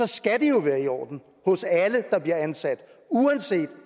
skal det jo være i orden hos alle der bliver ansat uanset